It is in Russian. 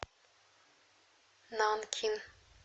нанкин